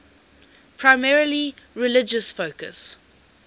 primarily religious focus